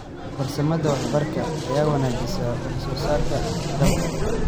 Farsamada waraabka ayaa wanaajisa wax soo saarka dalagga.